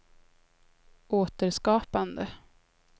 återskapande